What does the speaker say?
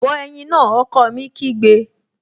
Bọ ẹ̀yin náà! Ọkọ mi kígbe